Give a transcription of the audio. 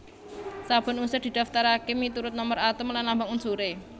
Saben unsur didaftaraké miturut nomer atom lan lambang unsuré